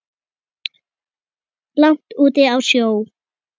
langt úti á sjó.